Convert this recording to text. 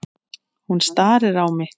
Hún starir á mig.